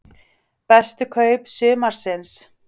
Bestu kaup sumarsins?